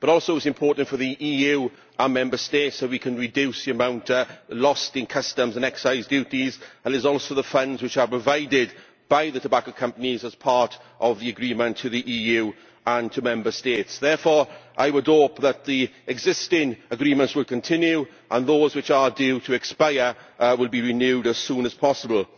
But this is also important for the EU and our Member States so that we can reduce the amount lost in customs and excise duties, and there are also the funds which are provided by the tobacco companies, as part of the agreement, to the EU and to Member States. Therefore, I would hope that the existing agreements will continue and those which are due to expire will be renewed as soon as possible.